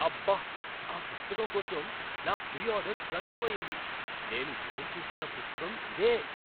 అబ్బ! ఆ పుస్తకం కోసం నా ప్రీ ఆర్డర్ కన్ఫర్మ్ అయ్యింది. నేను ఎదురు చూస్తున్న పుస్తకం ఇదే.